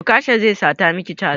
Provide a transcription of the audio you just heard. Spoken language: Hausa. Okasha zai sata maki caza